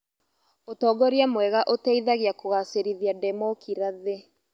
Ũtongoria mwega ũteithagia kũgacĩrithia ndemookirathĩ.